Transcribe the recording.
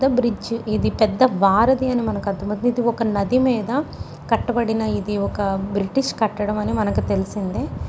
Bridge . ఇది పెద్ద వారధి అని అర్థమవుతుంది. ఒక నది మీద కట్టబడిన పెద్ద బ్రిటిష్ కట్టడం అని మనకు తెలిసింది.